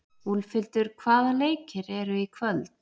Úlfhildur, hvaða leikir eru í kvöld?